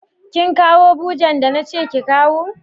Kin kawo bujen da na ce ki kawo?